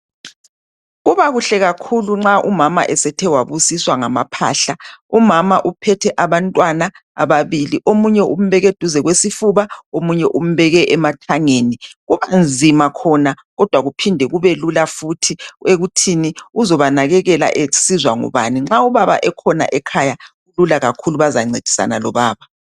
Kuba kuhle kakhulu nxa umama esethe wabusiswa ngamaphahla umama uphethe abantwana ababili omunye umbeke duze kwesifuba omunye umbeke emathangeni kubanzima khona kodwa kuphinde kube lula futhi ekuthini uzonakekela esizwa ngubani nxa ubaba ekhona ekhaya kulula kakhulu bazancedisana lobaba.